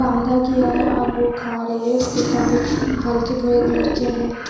बांधा गया है और वो खा रही है उसके कान हलके भूरे कलर के हैं।